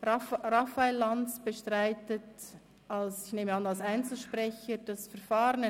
Raphael Lanz bestreitet, ich nehme an als Einzelsprecher, das Verfahren.